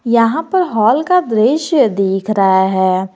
यहां पर हॉल का दृश्य दिख रहा है।